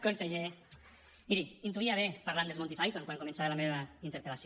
conseller miri ho intuïa bé parlant dels monty python quan començava la meva interpel·lació